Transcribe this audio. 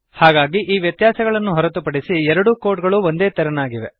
ಹಾಗಾಗಿ ಈ ವ್ಯತ್ಯಾಸಗಳನ್ನು ಹೊರತು ಪಡಿಸಿ ಎರಡೂ ಕೋಡ್ ಗಳು ಒಂದೇತೆರನಾಗಿವೆ